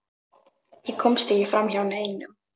Ég komst ekki framhjá neinum.